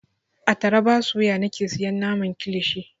A taraba suya nake siyan naman kilishi.